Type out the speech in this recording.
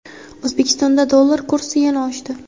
O‘zbekistonda dollar kursi yana oshdi.